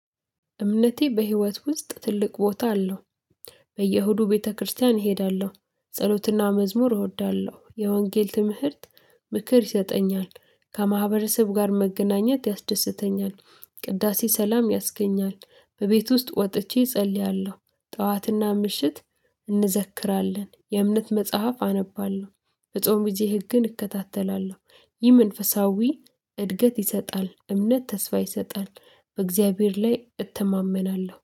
እምነቴ በህይወት ውስጥ ትልቅ ቦታ አለው። በየሁዱ ቤተክርስቲያን እሄዳለሁ፣ ጸሎትና መዝሙር እወዳለሁ፣ የወንጌል ትምህርት ምክር ይሰጠኛል፣ ከማህበረሰብ ጋር መገናኘት ያስደስተኛል። ቅዳሴ ሰላም ያስገኛል፣ በቤት ውስጥ ወጥቼ እጸልያለሁ፣ ጠዋትና ምሽት እንዘክራለን፣ የእምነት መጽሐፍ አነባለሁ፣ በጾም ጊዜ ህግን እከታተላለሁ፣ ይህ መንፈሳዊ እድገት ይሰጣል፣ እምነት ተስፋ ይሰጣል፣ በእግዚአብሔር ላይ እተማመናለሁ፣